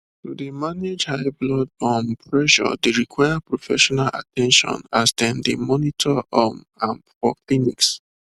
to dey manage high blood um pressure dey require professional at ten tion as dem dey monitor um am for clinics